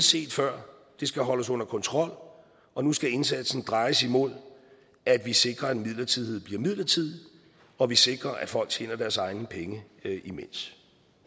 set før det skal holdes under kontrol og nu skal indsatsen drejes imod at vi sikrer at midlertidighed bliver midlertidig og at vi sikrer at folk tjener deres egne penge imens